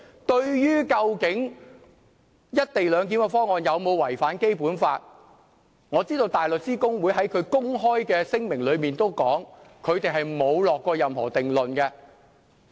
對於"一地兩檢"的方案有否違反《基本法》，我知道大律師公會在聲明公開指出，它沒有下任何定論。